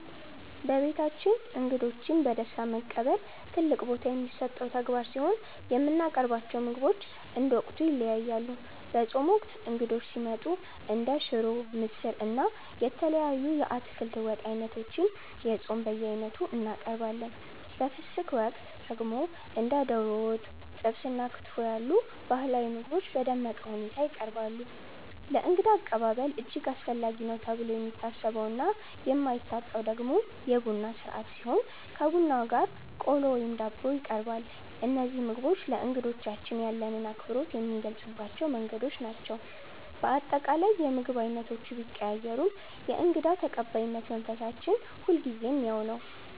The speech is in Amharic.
በቤታችን እንግዶችን በደስታ መቀበል ትልቅ ቦታ የሚሰጠው ተግባር ሲሆን፣ የምናቀርባቸው ምግቦች እንደ ወቅቱ ይለያያሉ። በጾም ወቅት እንግዶች ሲመጡ እንደ ሽሮ፣ ምስር፣ እና የተለያዩ የአትክልት ወጥ ዓይነቶችን (የጾም በየዓይነቱ) እናቀርባለን። በፍስግ ወቅት ደግሞ እንደ ዶሮ ወጥ፣ ጥብስ እና ክትፎ ያሉ ባህላዊ ምግቦች በደመቀ ሁኔታ ይቀርባሉ። ለእንግዳ አቀባበል እጅግ አስፈላጊ ነው ተብሎ የሚታሰበውና የማይታጣው ደግሞ የቡና ሥርዓት ሲሆን፣ ከቡናው ጋር ቆሎ ወይም ዳቦ ይቀርባል። እነዚህ ምግቦች ለእንግዶቻችን ያለንን አክብሮት የምንገልጽባቸው መንገዶች ናቸው። በአጠቃላይ፣ የምግብ ዓይነቶቹ ቢቀያየሩም የእንግዳ ተቀባይነት መንፈሳችን ሁልጊዜም ያው ነው።